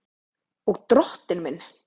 Og Drottinn minn!